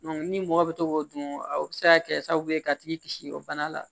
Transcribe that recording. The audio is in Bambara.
ni mɔgɔ bɛ to k'o dun o bɛ se ka kɛ sababu ye ka tigi kisi o bana la